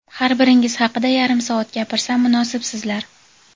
har biringiz haqida yarim soat gapirsam, munosibsizlar.